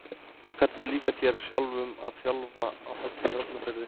Hvernig líkar þér sjálfum að þjálfa á Höfn í Hornafirði?